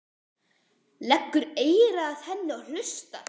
Leggur eyra að henni og hlustar.